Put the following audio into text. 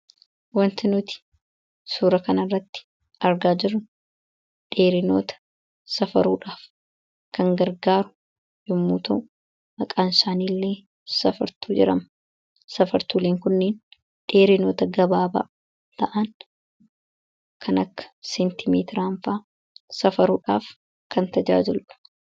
wanti nuti suura kana irratti argaa jiru dheerinoota safaruudhaaf kan gargaaru yommuu ta'u maqaan saaniiillee safartu jedhama safartuuliin kunneen dheerinoota gabaabaa ta'an kaneen akka seentimeetiranfaa safaruudhaaf kan tajaajulu